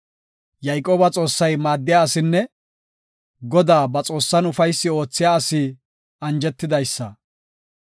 Yayqooba Xoossay maaddiya asinne Godaa, ba Xoossan ufaysi oothiya asi anjetidaysa.